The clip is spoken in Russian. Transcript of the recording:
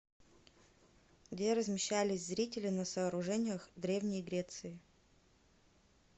где размещались зрители на сооружениях древней греции